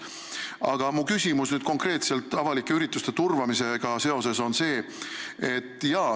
Aga minu küsimus on konkreetselt avalike ürituste turvamisega seoses.